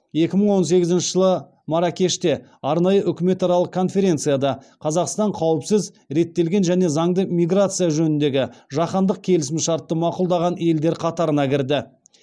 екі мың он сегізінші жылы марракеште арнайы үкіметаралық конференцияда қазақстан қауіпсіз реттелген және заңды миграция жөніндегі жаһандық келісімшартты мақұлдаған елдер қатарына кірді